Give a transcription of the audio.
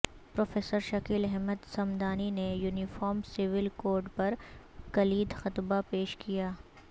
professor Shakeel Ahmed Samdani نے uniform civil code پر کلیدی خطبہ پیش کیا